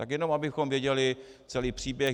Tak jenom abychom věděli celý příběh.